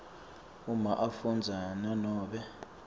uma afundza nanobe